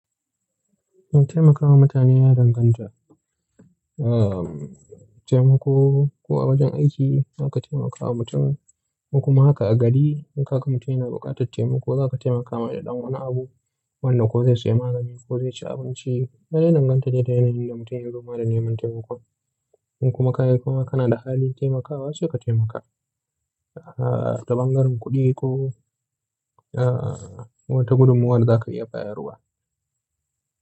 In taimakawa mutane ya danganta, ah, taimako ko a wajen aiki zaka ka taimakawa mutum, ko kuma haka a gari in ka ga mutum yana buƙatar taimako zaka taimaka masa da ɗan wani abu wanda ko zai sayi magani ko zai ci abinci. Kuma ya dangantace da yanayin da mutum yazo neman wannan taimakon. In kuma kaga kuma kana da halin taimakawa sai ka taimaka. Ah, ta bangaren kuɗi ko, ah, wata gudummawar daza ka iya bayarwa.